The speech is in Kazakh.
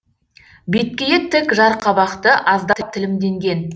беткейі тік жарқабақты аздап тілімденген